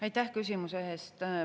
Aitäh küsimuse eest!